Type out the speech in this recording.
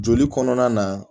Joli kɔnɔna na